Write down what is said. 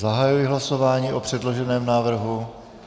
Zahajuji hlasování o předloženém návrhu.